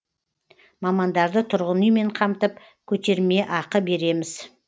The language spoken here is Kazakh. мамандарды тұрғын үймен қамтып көтермеақы береміз